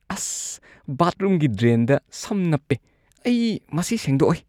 ꯑꯁ! ꯕꯥꯊꯔꯨꯝꯒꯤ ꯗ꯭ꯔꯦꯟꯗ ꯁꯝ ꯅꯞꯄꯦ꯫ ꯑꯩ ꯃꯁꯤ ꯁꯦꯡꯗꯣꯛꯑꯣꯏ꯫